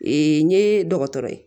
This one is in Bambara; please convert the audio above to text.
Ee n ye dɔgɔtɔrɔ ye